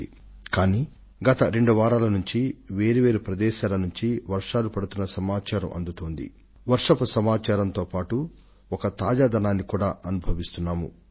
అయితే గత రెండు వారాలు వేరు వేరు ప్రదేశాలలో వర్షాలు పడి శుభ సంకేతాలను ఒక తాజాదనపు అనుభూతిని అందించాయి